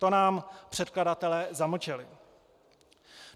To nám předkladatelé zamlčeli.